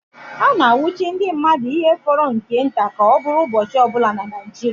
A na-anwụchi ndị mmadụ ihe fọrọ nke nta ka ọ bụrụ ụbọchị ọbụla na Naijiria